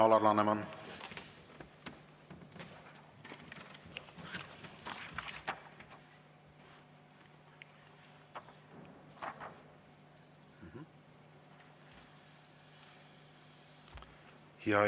Aitäh, Alar Laneman!